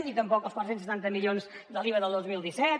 ni tampoc el quatre cents i setanta milions de l’iva del dos mil disset